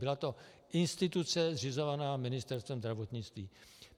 Byla to instituce zřizovaná Ministerstvem zdravotnictví.